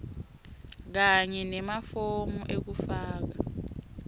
kanye nemafomu ekufaka